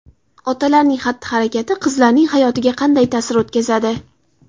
Otalarning xatti-harakati qizlarning hayotiga qanday ta’sir o‘tkazadi?.